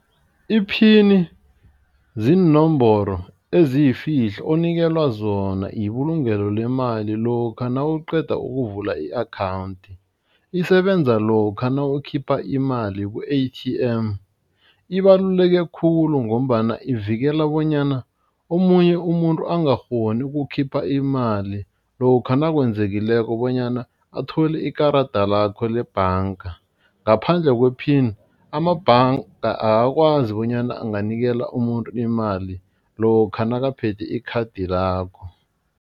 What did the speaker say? Iphini ziinomboro eziyifihlo omnikelwa zona ibulungelo lemali lokha nawuqeda ukuvula i-akhawundi. Isebenza lokha nawukhipha imali ku-A_T_M, ibaluleke khulu ngombana ivikela bonyana omunye umuntu angakghoni ukukhipha imali lokha nakwenzekileko bonyana athole ikarada lakho lebhanga ngaphandle kwe-pin amabhanga akakwazi bonyana anganikela umuntu imali lokha nakaphethe ikhadi lakho.